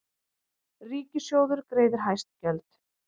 Ríkissjóður greiðir hæst gjöld